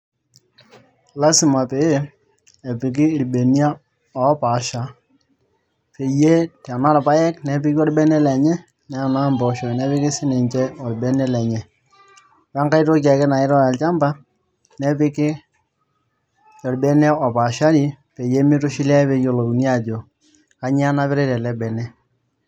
lasimaa peeyie epiki irbeniak oopasshaa tenaa irpayek nepiki orbene lenye tenaaa imboosho nepiki sininchee orbene lenye oo aitoki akee namiritai too olchmba nepiikii sininye orebene lenye peeyioluni.